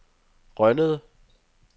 Rønnede